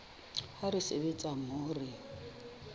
ha re sebetsa mmoho re